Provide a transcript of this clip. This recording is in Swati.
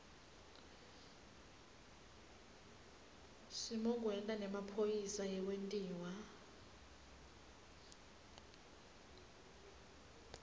simokwenta nemphambosi yekwentiwa